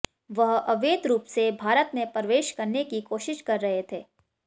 वह अवैध रूप से भारत में प्रवेश करने की कोशिश कर रहे थे